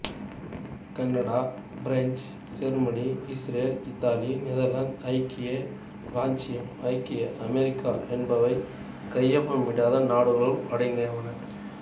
Canada France Germany Israel Italy Netherlands ஐக்கிய இராச்சியம் ஐக்கிய அமெரிக்கா என்பவை கையொப்பம் இடாத நாடுகளுள் அடங்குவன